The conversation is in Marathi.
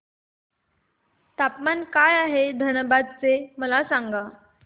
तापमान काय आहे धनबाद चे मला सांगा